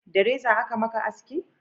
da reza a ka maka haski?